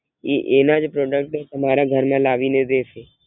ઈ એનાજ Product તમરા ઘર મા લાવી ને દેસે